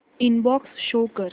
inbox show कर